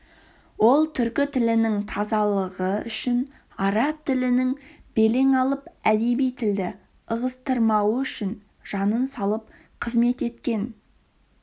ол түркі тілінің тазалығы үшін араб тілінің белең алып әдеби тілді ығыстырмауы үшін жанын салып қызмет еткен